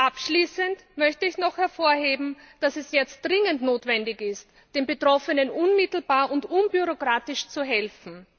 Abschließend möchte ich noch hervorheben, dass es jetzt dringend notwendig ist, den Betroffenen unmittelbar und unbürokratisch zu helfen.